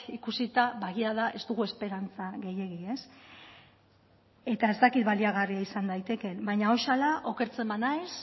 ikusita ba egia da ez dugu esperantza gehiegi eta ez dakit baliagarria izan daitekeen baina okertzen banaiz